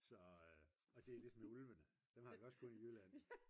så og det er ligesom med ulvene dem har vi også kun i Jylland